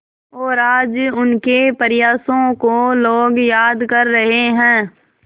और आज उनके प्रयासों को लोग याद कर रहे हैं